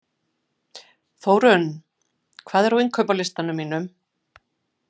Þórinn, hvað er á innkaupalistanum mínum?